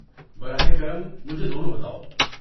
براہ کرم مجھے دونوں بتاؤ۔